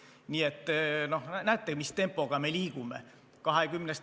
Nii et näete, mis tempoga me liigume.